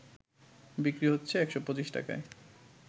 বিক্রি হচ্ছে ১২৫ টাকায়